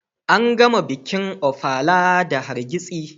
An gama bikin Ofala da hargitsi.